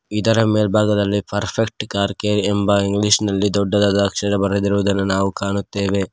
ಇದರ ಮೇಲ್ಬಾಗದಲ್ಲಿ perfect car care ಎಂಬ ಇಂಗ್ಲಿಷ್ ನಲ್ಲಿ ದೊಡ್ಡದಾದ ಅಕ್ಷರ ಬರೆದಿರುದನ್ನ ನಾವು ಕಾಣುತ್ತೆವೆ.